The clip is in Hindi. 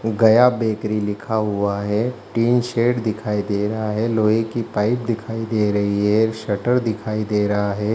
गया बेकरी लिखा हुआ है टीन सेड दिखाई दे रहा हैं लोहे की पाइप दिखाई दे रही है एक शटर दिखाई दे रहा है।